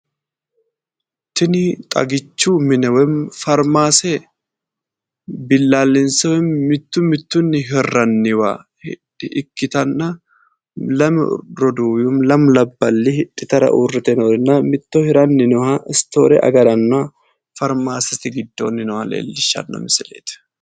Tini xagichu mine woyi farmaase billaallinse mittu mittuyi hirranniwa ikkitanna lame roduuwi woyi lamu labballi hidhitara uurrite noorenna mitto hirara uurrinoha istoore agaraanna faarmaasete giddoonni nooha leellishshanno misileeti.